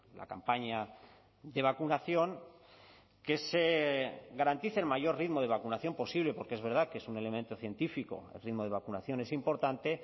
la campaña de vacunación que se garantice el mayor ritmo de vacunación posible porque es verdad que es un elemento científico el ritmo de vacunación es importante